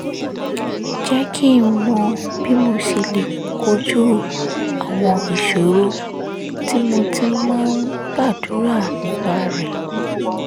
jẹ́ kí n mọ bí mo ṣe lè kojú àwọn ìṣòro tí mo ti máa ń gbàdúrà nípa rẹ̀